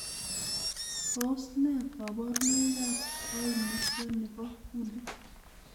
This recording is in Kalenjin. Tos nee koburonoikab koimutioni bo kuntit?